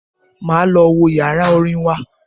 Máa lọ wo yàrá orin wa.